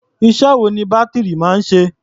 Iṣẹ́ wo ni bátìrì máa ń ṣe?